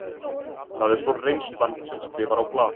Það er svo reynslan sem skrifar á blaðið.